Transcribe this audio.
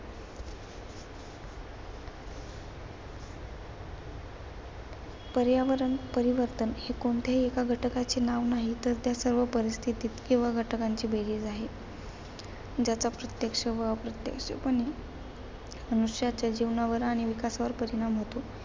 पर्यावरण परिवर्तन हे कोणत्याही एका घटकाचे नाव नाही तर सर्व परिस्थिती किंवा घटकांची बेरीज आहे. ज्याचा प्रत्यक्ष व प्रत्यक्षपणे मनुष्याच्या जीवनावर आणि विकासावर परिणाम होतो.